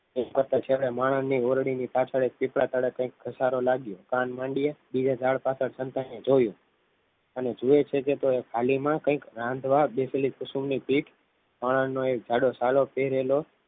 તે છેલ્લે માણસની ઓરડી ની પાછળ એક પીપળા પાચળ કંઇક ઘસારો લાગ્યો કાન માંડ્યા બીજા ઝાડ પાછળ સંતાઈને જોયું અને જુએ છે કે થાલીમાં કંઈક રાંધવા બેસેલી કુસુમની પીઠ મરણનો એક જાડો સાલો પહેરેલો